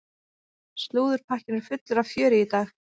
Slúðurpakkinn er fullur af fjöri í dag.